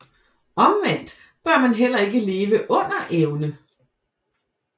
Omvendt bør man heller ikke leve under evne